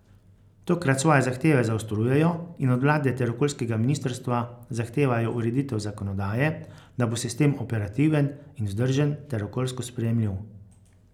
Tokrat svoje zahteve zaostrujejo in od vlade ter okoljskega ministrstva zahtevajo ureditev zakonodaje, da bo sistem operativen in vzdržen ter okoljsko sprejemljiv.